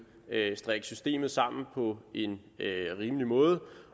strikke systemet sammen på en rimelig måde